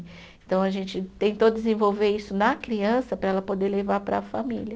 Então, a gente tentou desenvolver isso na criança para ela poder levar para a família.